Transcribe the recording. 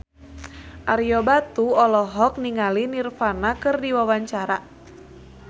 Ario Batu olohok ningali Nirvana keur diwawancara